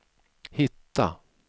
hitta